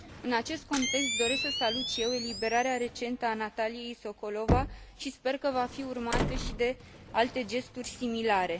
În acest context, doresc să salut și eu eliberarea recentă a Nataliei Sokolova și sper că va fi urmată și de alte gesturi similare.